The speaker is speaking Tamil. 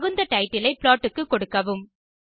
தகுந்த டைட்டில் ஐ ப்ளாட் க்கு கொடுக்கவும்